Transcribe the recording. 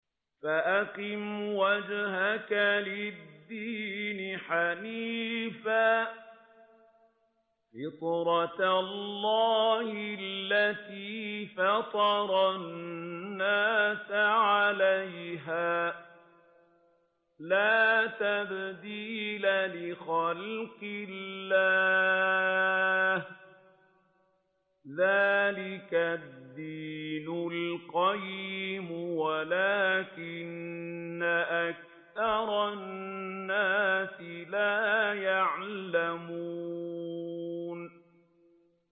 فَأَقِمْ وَجْهَكَ لِلدِّينِ حَنِيفًا ۚ فِطْرَتَ اللَّهِ الَّتِي فَطَرَ النَّاسَ عَلَيْهَا ۚ لَا تَبْدِيلَ لِخَلْقِ اللَّهِ ۚ ذَٰلِكَ الدِّينُ الْقَيِّمُ وَلَٰكِنَّ أَكْثَرَ النَّاسِ لَا يَعْلَمُونَ